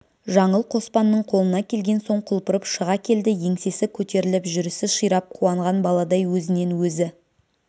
жаңыл қоспанның қолына келген соң құлпырып шыға келді еңсесі көтеріліп жүрісі ширап қуанған баладай өзінен өзі